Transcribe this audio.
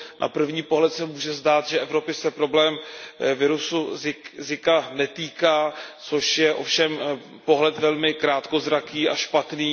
Na první pohled se může zdát, že Evropy se problém viru zika netýká, což je ovšem pohled velmi krátkozraký a špatný.